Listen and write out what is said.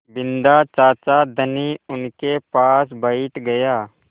बिन्दा चाचा धनी उनके पास बैठ गया